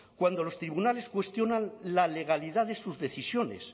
cuando los tribunales cuestionan la legalidad de sus decisiones